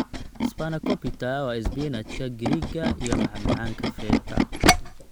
Spanakopita waa isbinaajka Giriigga iyo macmacaanka feta.